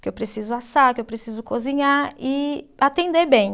que eu preciso assar, que eu preciso cozinhar e atender bem.